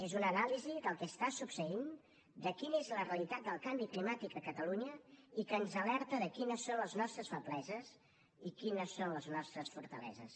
és una anàlisi del que succeeix de quina és la realitat del canvi climàtic a catalunya i que ens alerta de quines són les nostres febleses i quines són les nostres fortaleses